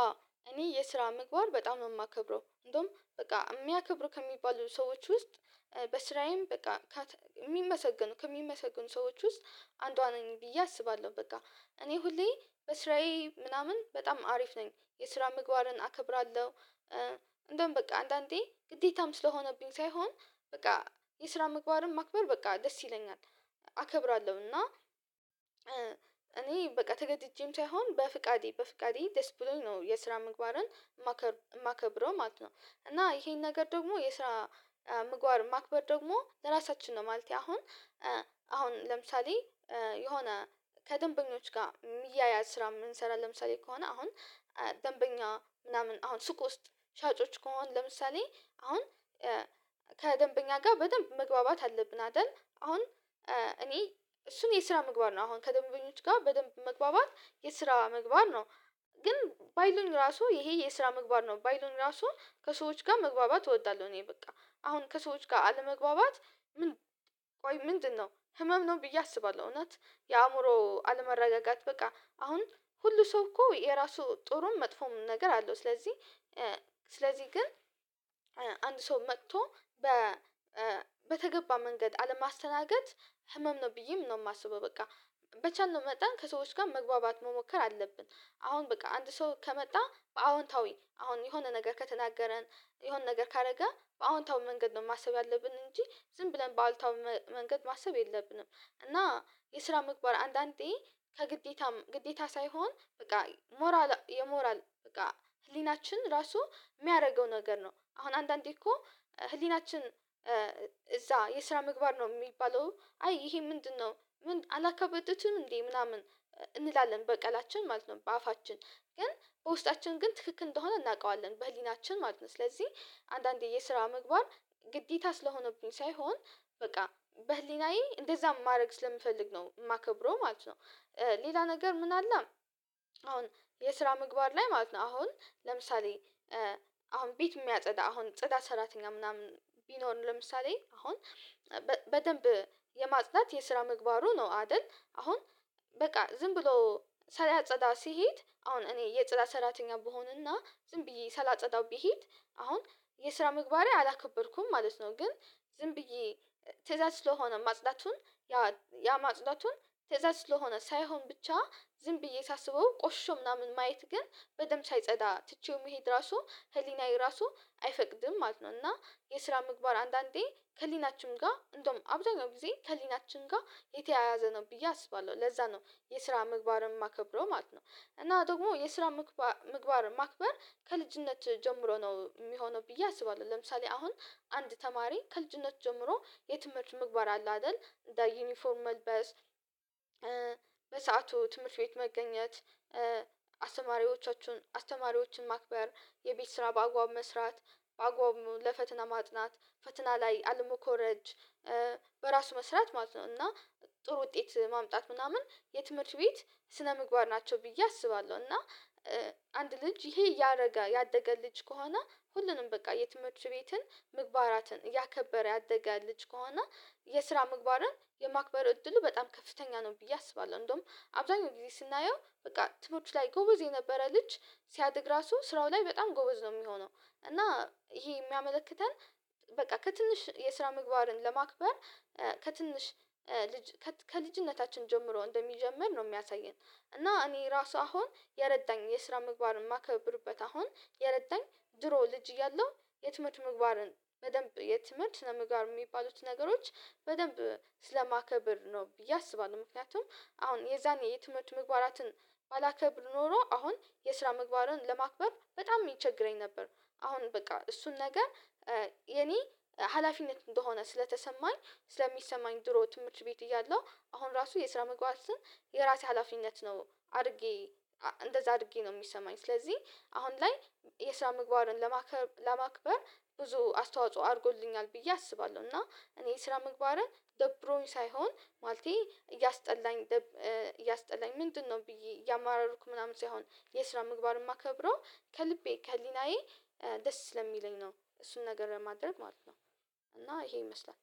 አዎ እኔ የስራ ምግባር በጣም ነው የማከብረው እንደውም በቃ የሚያከብሩ ከሚባሉ ሰዎች ውስጥ በስራዬም በቃ የሚመሰገኑ ከሚመሰግኑ ሰዎች ውስጥ አንዷ ነኝ ብዬ አስባለሁ። በቃ እኔ ሁሌ በስራዬ ምናምን በጣም አሪፍ ነኝ የስራ ምግባርን አከብራለሁ እንደውም በቃ አንዳንዴ ግዴታም ስለሆነብኝ ሳይሆን በቃ የስራ ምግባርም ማክበር በቃ ደስ ይለኛል። አከብራለሁ እና እኔ በቃ ተገድጄም ሳይሆን በፍቃዴ በፍቃዴ ደስ ብሎኝ ነው የስራ ምግባርን የማከብረው ማለት ነው። እና ይሄን ነገር ደግሞ የስራ ምግባር ማክበር ደግሞ ለራሳችን ነው ማለት። አሁን አሁን ለምሳሌ የሆነ ከደንበኞች ጋር የሚያያዝ ስራ የምንሰራ ለምሳሌ ከሆነ አሁን ደንበኛ ምናምን አሁን ሱቅ ውስጥ ሻጮች ከሆን ለምሳሌ አሁን ከደንበኛ ጋር በደንብ መግባባት አለብን አይደል? አሁን እኔ እሱን የስራ መግባት ነው አሁን ከደንበኞች ጋር በደንብ መግባባት የስራ ምግባር ነው። ግን ባይሉኝ ራሱ ይሄ የስራ ምግባር ነው ባይ ባይሎን ራሱ ከሰዎች ጋር መግባባት እወዳለሁ። እኔ በቃ አሁን ከሰዎች ጋር አለመግባባት ምን ቆይ ምንድነው ህመም ነው ብዬ አስባለሁ። እናት የአእምሮ አለመረጋጋት በቃ አሁን ሁሉ ሰው እኮ የራሱ ጥሩን መጥፎም ነገር አለው። ስለዚህ ስለዚህ ግን አንድ ሰው መጥቶ በተገባ መንገድ አለማስተናገድ ህመም ነው ብዬም ነው የማስበው። በቃ በቻልነው መጠን ከሰዎች ጋር መግባባት መሞከር አለብን። አሁን በቃ አንድ ሰው ከመጣ በአዎንታዊ አሁን የሆነ ነገር ከተናገረን የሆነ ነገር ካደረገ በአዎንታዊ መንገድ ነው ማሰብ ያለብን እንጂ ዝም ብለን በአሉታዊ መንገድ ማሰብ የለብንም። እና የስራ ምግባር አንዳንዴ ከግዴታም ግዴታ ሳይሆን በቃ ሞራል የሞራል በቃ ህሊናችን ራሱ የሚያደርገው ነገር ነው። አሁን አንዳንዴ እኮ ህሊናችን እዛ የስራ ምግባር ነው የሚባለው አይ ይሄ ምንድነው? አላከበደትም እንዴ ምናምን እንላለን በቃላችን ማለት ነው በአፋችን ግን በውስጣችን ግን ትክክል እንደሆነ እናውቀዋለን በህሊናችን ማለት ነው። ስለዚህ አንዳንዴ የስራ ምግባር ግዴታ ስለሆነብኝ ሳይሆን በቃ በህሊናዬ እንደዛ ማድረግ ስለምፈልግ ነው የማከብረው ማለት ነው። ሌላ ነገር ምን አለ? አሁን የስራ ምግባር ላይ ማለት ነው አሁን ለምሳሌ አሁን ቤት የሚያጸዳ አሁን ጸዳት ሰራተኛ ምናምን ቢኖር ለምሳሌ አሁን በደንብ የማጽዳት የስራ ምግባሩ ነው አይደል? አሁን በቃ ዝም ብሎ ሳያጸዳ ሲሄድ አሁን እኔ የጸላ ሰራተኛ ብሆንና ዝም ብዬ ሳላጸዳ ቢሄድ አሁን የስራ ምግባሬ አላከበርኩም ማለት ነው። ግን ዝም ብዬ ስራ ስለሆነ ማጽዳቱን ያ ያ ማጽዳቱን ስህተት ስለሆነ ሳይሆን ብቻ ዝም ብዬ ሳስበው ቆሽሾ ምናምን ማየት ግን በደንብ ሳይጸዳ ትቼው መሄድ ራሱ ህሊናዬ ራሱ አይፈቅድም ማለት ነው። እና የስራ ምግባር አንዳንዴ ከሊናችን ጋር እንደውም አብዛኛው ጊዜ ከሊናችን ጋር የተያያዘ ነው ብዬ አስባለሁ። ለዛ ነው የስራ ምግባርም ማከብረው ማለት ነው። እና ደግሞ የስራ ምግባር ምግባር ማክበር ከልጅነት ጀምሮ ነው የሚሆነው ብዬ አስባለሁ። ለምሳሌ አሁን አንድ ተማሪ ከልጅነት ጀምሮ የትምህርት ምግባር አለ አይደል እንደ ዩኒፎርም መልበስ በሰአቱ ትምህርት ቤት መገኘት አስተማሪዎቻችሁን አስተማሪዎችን ማክበር የቤት ስራ በአጓብ መስራት በአግባቡ ለፈትና ማጥናት ፈተና ላይ አለመኮረጅ በራሱ መስራት ማለት ነው። እና ጥሩ ውጤት ማምጣት ምናምን የትምህርት ቤት ስነምግባር ናቸው ብዬ አስባለሁ። እና አንድ ልጅ ይሄ እያደገ ያደገ ልጅ ከሆነ ሁሉንም በቃ የትምህርት ቤትን ምግባራትን እያከበረ ያደገ ልጅ ከሆነ የስራ ምግባርን የማክበር እድሉ በጣም ከፍተኛ ነው። ብዬ አስባለሁ እንደውም አብዛኛው ጊዜ ስናየው በቃ ትምርት ላይ ጎበዝ የነበረ ልጅ ሲያድግ ራሱ ስራው ላይ በጣም ጎበዝ ነው የሚሆነው። እና ይሄ የሚያመለክተን በቃ ከትንሽ የስራ ምግባርን ለማክበር ከትንሽ ልጅ ከልጅነታችን ጀምሮ እንደሚጀምር ነው የሚያሳየን። እና እኔ ራሱ አሁን የረዳኝ የስራ ምግባር የማከብርበት አሁን የረዳኝ ድሮ ልጅ እያለሁ የትምህርት ምግባርን በደንብ የትምህርት ምግባር የሚባሉት ነገሮች በደንብ ስለማከብር ነው ብዬ አስባለሁ። ምክንያቱም አሁን የዛን የትምህርት ምግባራትን ባላከብር ኖሮ አሁን የስራ ምግባርን ለማክበር በጣም ይቸግረኝ ነበር። አሁን በቃ እሱን ነገር የኔ ሀላፊነት እንደሆነ ስለተሰማኝ ስለሚሰማኝ ድሮ ትምህርት ቤት እያለሁ አሁን ራሱ የስራ መግባትን ሀላፊነት ነው። አድርጌ እንደዛ አድርጌ ነው የሚሰማኝ። ስለዚህ አሁን ላይ የስራ ምግባርን ለማክበር ብዙ አስተዋጽኦ አድርጎልኛል ብዬ አስባለሁ። እና እኔ የስራ ምግባርን ደብሮኝ ሳይሆን ማለቴ እያስጠላኝ እያስጠላኝ ምንድነው ብዬ እያማራሩኩ ምናምን ሳይሆን የስራ ምግባርም አከብሮ ከልቤ ከህሊናዬ ደስ ስለሚለኝ ነው። እሱን ነገር ለማድረግ ማለት ነው። እና ይሄ ይመስላል